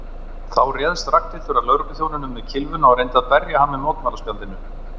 Þá réðst Ragnhildur að lögregluþjóninum með kylfuna og reyndi að berja hann með mótmælaspjaldinu.